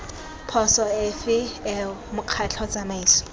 phoso efe eo mokgatlho tsamaiso